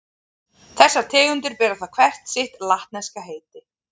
Þessar tegundir bera þá hver sitt latneska heiti.